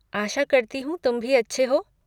आशा करती हूँ तुम भी अच्छे हो!